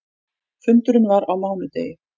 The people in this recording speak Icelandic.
Fundurinn var á mánudegi.